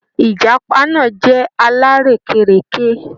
Ìjàpá náà jẹ́ alárèékérekè.